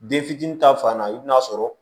Den fitinin ta fan na i bi n'a sɔrɔ